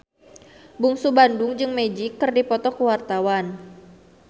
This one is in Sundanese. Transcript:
Bungsu Bandung jeung Magic keur dipoto ku wartawan